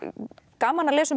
gaman að lesa um